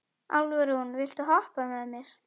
Álfrún, viltu hoppa með mér?